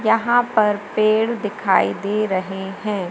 यहां पर पेड़ दिखाई दे रहे हैं।